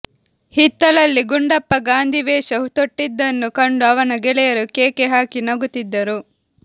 ಹಿತ್ತಲಲ್ಲಿ ಗುಂಡಪ್ಪ ಗಾಂಧಿವೇಷ ತೊಟ್ಟಿದ್ದನ್ನು ಕಂಡು ಅವನ ಗೆಳೆಯರು ಕೇಕೆ ಹಾಕಿ ನಗುತ್ತಿದ್ದರು